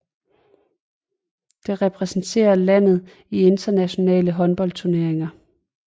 Det repræsenterer landet i internationale håndboldturneringer